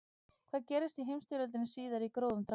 hvað gerðist í heimsstyrjöldinni síðari í grófum dráttum